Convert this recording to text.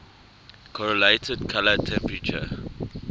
correlated color temperature